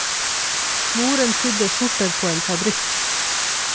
Moren sydde skjorter på en fabrikk.